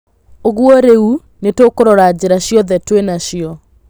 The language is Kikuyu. Ũguo rĩu nĩtũkũrora njĩra ciothe twĩnacio